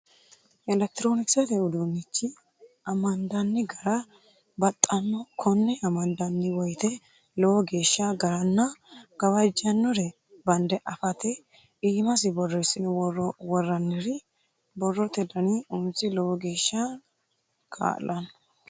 Elekitironkisete uduunichi amandanni gara baxano kone amandanni woyte lowo geeshsha agaranna gawajjanore bande afate iimasi borreessine woraniri borrote dani umisi lowo geeshsha kaa'lano.